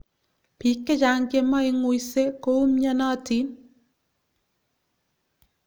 Biik chechang chemeng'uisei koumyanatiin